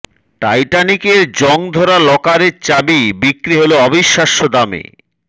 টাইটানিকের জং ধরা লকারের চাবি বিক্রি হল অবিশ্বাস্য দামে